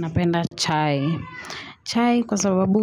Napenda chai. Chai kwa sababu